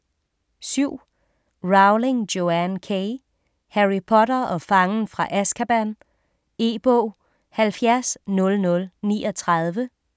7. Rowling, Joanne K.: Harry Potter og fangen fra Azkaban E-bog 700039